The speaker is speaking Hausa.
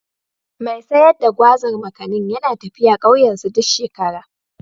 Mai sayar da Gwazar/ Makanin yana tafiya ƙauyensu duk shekara.